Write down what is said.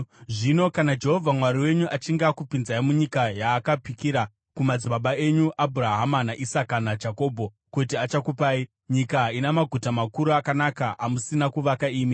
Zvino kana Jehovha Mwari wenyu achinge akupinzai munyika yaakapikira kumadzibaba enyu, Abhurahama, naIsaka, naJakobho, kuti achakupai, nyika ina maguta makuru akanaka, amusina kuvaka imi,